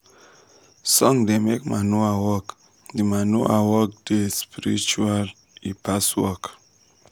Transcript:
song da make manure work da manure work da spiritual e pass work